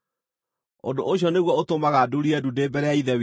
Ũndũ ũcio nĩguo ũtũmaga ndurie ndu ndĩ mbere ya Ithe witũ,